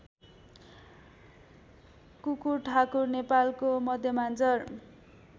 कुकुरठाकुर नेपालको मध्यमाञ्चल